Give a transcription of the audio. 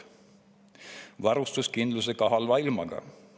Tagame varustuskindluse ka halva ilmaga.